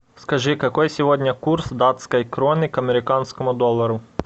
скажи какой сегодня курс датской кроны к американскому доллару